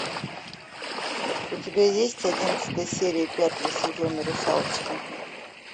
у тебя есть одиннадцатая серия пятого сезона русалочка